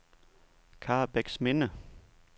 Karrebæksminde